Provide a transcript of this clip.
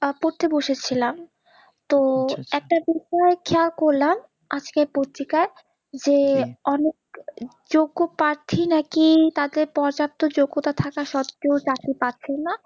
পড়তে বসেছিলাম তো একটা পত্রিকায় খেয়াল করলাম আজকের পত্রিকায় যে অনেক যোগ্য প্রার্থী নাকি তাদের পর্যাপ্ত যোগ্যতা থাকা সত্তেও চাকরি পাচ্ছেনা